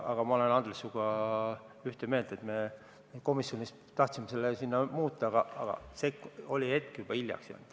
Aga ma olen, Andres, sinuga ühte meelt ja me komisjonis tahtsime seda muuta, aga olime juba hiljaks jäänud.